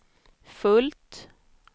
fullt